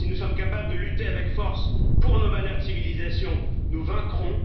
Si nous sommes capables de lutter avec force pour nos valeurs de civilisation, nous vaincrons.